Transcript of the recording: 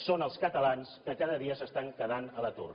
són els catalans que cada dia s’estan quedant a l’atur